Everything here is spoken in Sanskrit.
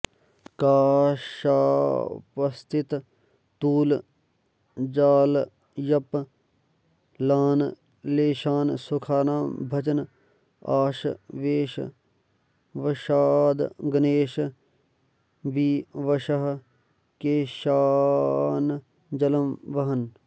काशापस्थिततूलजालचपलान् लेशान् सुखानां भजन् आशावेशवशाद्गणेश विवशः केशानजलं वहन्